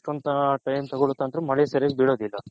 time ತಗೊಳುತ್ತೆ ಮಳೆ ಸರಿಯಾಗಿ ಬಿಲ್ಲೋದಿಲ್ಲ